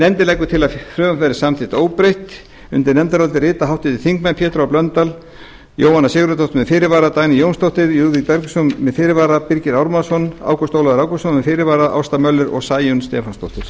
nefndin leggur til að frumvarpið verði samþykkt óbreytt undir nefndarálitið rita háttvirtir þingmenn pétur h blöndal jóhanna sigurðardóttir með fyrirvara dagný jónsdóttir lúðvík bergvinsson með fyrirvara birgir ármannsson ágúst ólafur ágústsson með fyrirvara ásta möller og sæunn stefánsdóttir